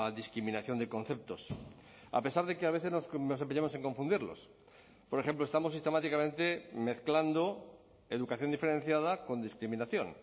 discriminación de conceptos a pesar de que a veces nos empeñamos en confundirlos por ejemplo estamos sistemáticamente mezclando educación diferenciada con discriminación